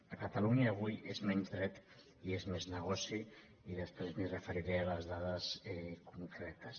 a catalunya avui és menys dret i és més negoci i després em referiré a les dades concretes